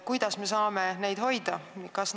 Kuidas me saame neid seal hoida?